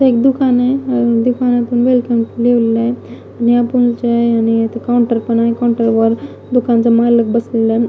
इथे एक दुकान आहे दुकानातून वेलकम लिहिलेलं आहे आणि इथं काउंटर पण आहे काउंटर वर दुकानचा मालक बसलेला आहे.